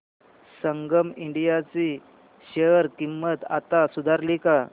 संगम India ची share किंमत आता सुधारली का